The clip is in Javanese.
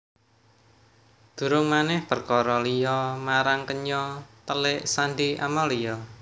Durung manèh perkara liya marang kenya telik sandhi Amalia